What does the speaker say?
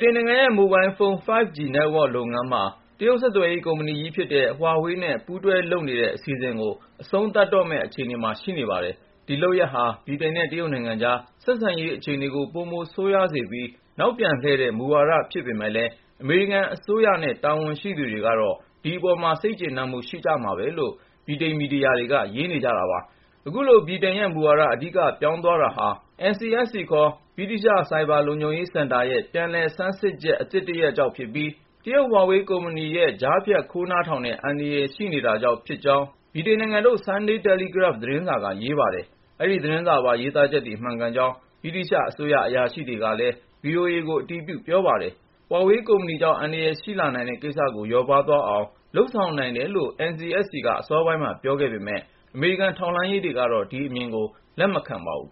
တိန်နိုင်ငံရဲ့ မိုဘိုင်းဖုန်း 5G Network လုပ်ငန်းမှာ တရုတ် ဆက်သွယ်ရေး ကုမ္ပဏီကြီးဖြစ်တဲ့ Huawei နဲ့ ပူးတွဲလုပ်နေတဲ့ အစီအစဉ်ကို အဆုံးသတ်တော့မယ့် အခြေအနေမှာ ရှိနေပါတယ်။ ဒီလုပ်ရပ်ဟာ ဗြိတိန်နဲ့ တရုတ်နိုင်ငံကြား ဆက်ဆံရေး အခြေအနေကို ပိုဆိုးရွားစေပြီး နောက်ပြန်လှည့်တဲ့ မူဝါဒဖြစ်ပေမယ့်လည်း အမေရိကန်အစိုးရနဲ့ တာဝန်ရှိသူတွေကတော့ ဒီအပေါ်မှာ စိတ်ကျေနပ်မှု ရှိကြမှာပဲလို့ ဗြိတိန်မီဒီယာတွေက ရေးနေကြပါတယ်။ အခုလို ဗြိတိန်ရဲ့မူဝါဒ အဓိက ပြောင်းသွားရတာဟာ NCSC ခေါ် ဗြိတိသျှ ဆိုက်ဘာလုံခြုံရေးစင်တာရဲ့ ပြန်လည်ဆန်းစစ်ချက် အသစ်တရပ်ကြောင့်ဖြစ်ပြီး တရုတ် Huawei ကုမ္ပဏီရဲ့ ကြားဖြတ်ခိုးနားထောင်တဲ့ အန္တရာယ်ရှိနေတာကြောင့် ဖြစ်ကြောင်း ဗြိတိန်နိုင်ငံထုတ် Sunday Telegraph သတင်းစာက ရေးပါတယ်။ အဲဒီသတင်းစာပါ ရေးသားချက်တွေ မှန်ကန်ကြောင်း ဗြိတိသျှအစိုးရ အရာရှိတွေက ဗွီအိုအေကို အတည်ပြု ပြောဆိုပါတယ်။ Huawei ကုမ္ပဏီကြောင့် အန္တရာယ်ရှိလာနိုင်တဲ့ကိစ္စကို လျော့ပါးသွားအောင် လုပ်ဆောင်နိုင်တယ်လို့ NCSC က အစောပိုင်းမှာ ပြောခဲ့ပေမယ့် အမေရိကန် ထောက်လှမ်းရေးတွေကတော့ ဒီအမြင်ကို လက်မခံပါဘူး